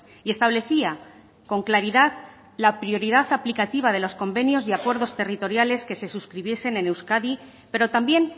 y establecía con claridad la prioridad aplicativa de los convenios y acuerdos territoriales que se suscribiesen en euskadi pero también